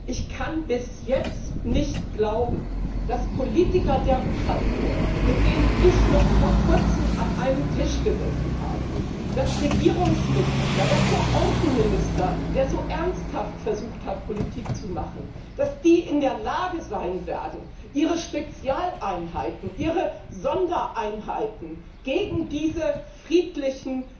Ich kann bis jetzt nicht glauben, dass Politiker der Ukraine, mit denen ich noch vor Kurzem an einem Tisch gesessen habe, dass Regierungsmitglieder, dass der Außenminister, der so ernsthaft versucht hat, Politik zu machen, dass die in der Lage sein werden, ihre Spezialeinheiten, ihre Sondereinheiten gegen diese friedlichen